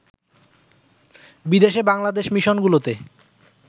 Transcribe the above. বিদেশে বাংলাদেশ মিশনগুলোতে